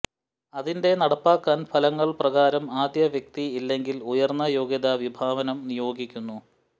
അതിന്റെ നടപ്പാക്കാൻ ഫലങ്ങൾ പ്രകാരം ആദ്യ വ്യക്തി അല്ലെങ്കിൽ ഉയർന്ന യോഗ്യത വിഭാഗം നിയോഗിക്കുന്നു